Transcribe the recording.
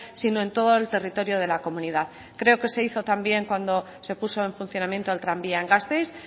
sino en todo el territorio de la comunidad creo que se hizo también cuando se puso en funcionamiento el tranvía en gasteiz